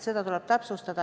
Seda tuleb täpsustada.